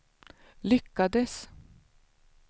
lyckades